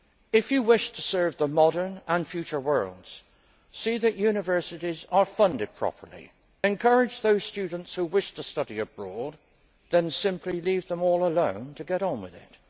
If you wish to serve the modern and future worlds, see that universities are funded properly, encourage those students who wish to study abroad, then simply leave them all alone to get on with it.